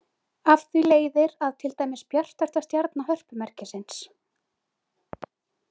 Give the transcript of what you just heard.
Af því leiðir að til dæmis bjartasta stjarna Hörpumerkisins.